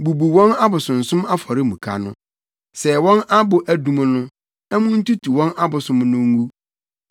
Bubu wɔn abosonsom afɔremuka no. Sɛe wɔn abo adum no na muntutu wɔn abosom no ngu.